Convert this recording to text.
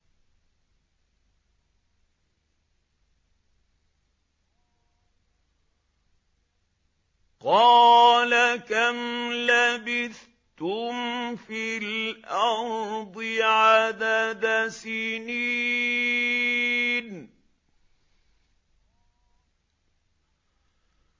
قَالَ كَمْ لَبِثْتُمْ فِي الْأَرْضِ عَدَدَ سِنِينَ